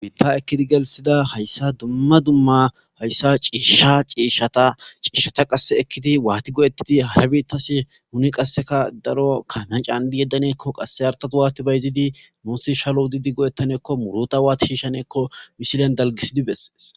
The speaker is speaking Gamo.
biitta ekkidi gelsida hayssa dumma dumma hayssa ciishsha ciishshata ciishshata qasse ekkidi waati go7ettidi harabitasi huni qasseka daro kanan caandi yeddaneekko qasse artatu waati bayzidi muussi shalo udidi go7ettaneekko muruta waati shiishaneekko misilen dalgisidi bessees.